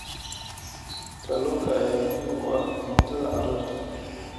Kalluunka ayaa muhiim u ah cuntada carruurta.